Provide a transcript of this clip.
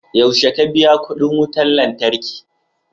yaushe ka biya kudin wutar lantarki?